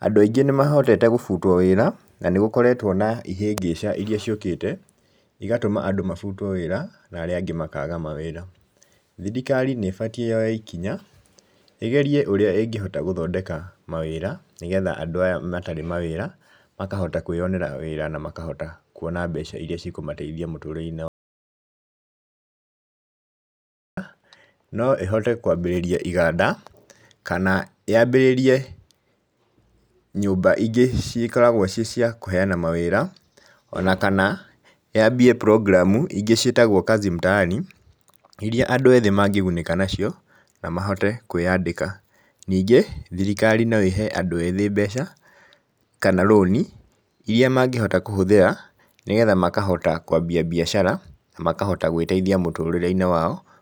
andũ aingĩ nĩ mahotete gũbutwo wĩra, na nĩ gũkoretwo na ihĩngĩca iria ciũkĩte, igatũma andũ mabutwo wĩra na arĩa angĩ makaga mawĩra, thirikari nĩ ĩbatiĩ yoye ikinya, ĩgerie ũrĩa ĩngĩhota gũthondeka mawĩra, nĩgetha andũ aya matarĩ mawĩra, makahota kwĩyonera wĩra na makahota kuona mbeca iria cikũmateithia mũtũrĩre-inĩ. No ĩhote kwambĩrĩria iganda, kana yambĩrĩrie nyũmba ingĩ cikoragwo ciĩ cia kũheana mawĩra, ona kana yambie cs] program ingĩ ciĩtagwo kazi mtaani, irĩa andũ ethĩ mangĩgunĩka nacio, na mahote kwĩyandĩka. Ningĩ thirikari no ĩhe andũ ethĩ mbeca, kana rũni, iria mangĩhota kũhũthĩra, nĩgetha makahota kwambia mbiacara na makahota gwĩteithia mũtũrĩre-inĩ wao.